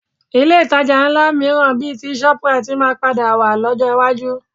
Ilé ìtajà ńlá mìíràn bíi ti shoprite máa padà wà lọ́jọ́ iwájú